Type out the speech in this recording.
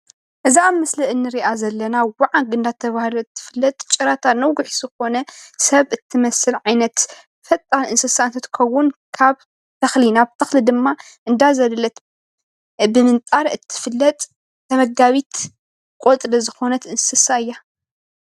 እዛ ኣብ ምስሊ ንሪኣ ዘለና ወዓግ እናተብሃለት ትፍለጥ ጭራታ ነዊሕ ዝኮነ ሰብ እትመስል ዓይነት ፈጣን እንስሳ እንትከዉን ካብ ተክሊ ናብ ተክሊ ድማ እንዳዘለለት ብምንጣር እትፍለጥ ተመጋቢ ቆፅሊ ዝኮነት እንስሳ እያ።